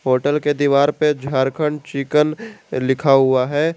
Hotel के दीवार पे झारखंड चीकेन लिखा हुआ है।